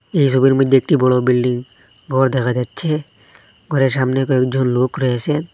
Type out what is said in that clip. এই ছবির মইদ্যে একটি বড়ো বিল্ডিং ঘর দেখা যাচ্চে ঘরের সামনে কয়েকজন লোক রয়েসেন।